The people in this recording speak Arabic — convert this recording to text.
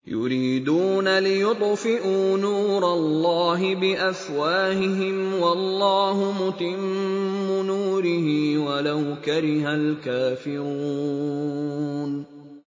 يُرِيدُونَ لِيُطْفِئُوا نُورَ اللَّهِ بِأَفْوَاهِهِمْ وَاللَّهُ مُتِمُّ نُورِهِ وَلَوْ كَرِهَ الْكَافِرُونَ